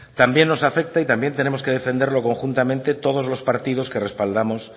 también nos afecta y también tenemos que defenderlo conjuntamente todos los partidos que respaldamos